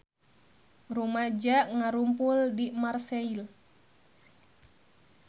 Rumaja ngarumpul di Marseille